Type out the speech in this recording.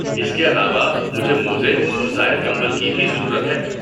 اس کے علاوہ، مجھے موزے اور زائد کمبل کی بھی ضرورت ہے۔